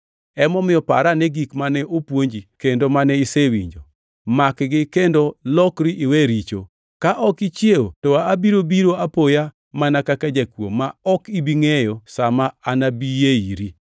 Emomiyo par ane gik mane opuonji kendo mane isewinjo, makgi kendo lokri iwe richo. Ka ok ichiew to abiro biro apoya mana kaka jakuo ma ok ibi ngʼeyo sa ma anabiyee iri.